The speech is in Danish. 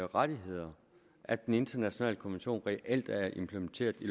rettigheder at den internationale konvention reelt er implementeret i